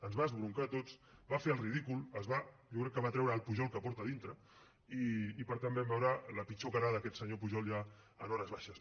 ens va esbroncar a tots va fer el ridícul jo crec que va treure el pujol que porta dintre i per tant vam veure la pitjor cara d’aquest senyor pujol ja en hores baixes